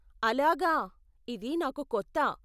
అలాగా, ఇది నాకు కొత్త.